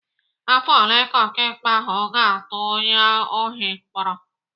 Afọ ole ka ọkaikpe ahụ ga-atụ onye ohi mkpọrọ?